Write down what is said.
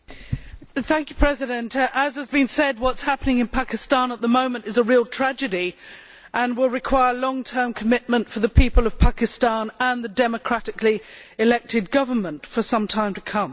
Madam President, as has been said, what is happening in Pakistan at the moment is a real tragedy and will require long term commitment on behalf of the people of Pakistan and its democratically elected government for some time to come.